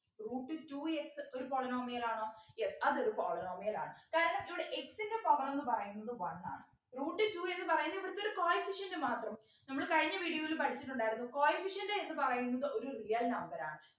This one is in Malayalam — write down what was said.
root two x ഒരു polynomial ആണോ yes അതൊരു polynomial ആണ് കാരണം ഇവിടെ x ൻ്റെ power ന്നു പറയുന്നത് one ആണ് root two എന്ന് പറയുന്നെ ഇവിടെത്തെ ഒരു coefficient മാത്രമാണ് നമ്മള് കഴിഞ്ഞ video യിൽ പഠിച്ചിട്ടുണ്ടായിരുന്നു coefficient എന്ന് പറയുന്നത് ഒരു real number ആണ്